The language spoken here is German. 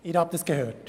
Sie haben es gehört.